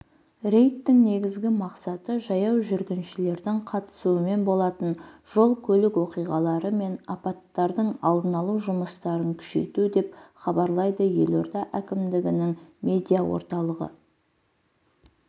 рейдтің негізгі мақсаты жаяу жүргіншілердің қатысуымен болатын жол-көлік оқиғалары мен апаттардың алдын алу жұмыстарын күшейту деп хабарлайды елорда әкімдігінің медиа орталығы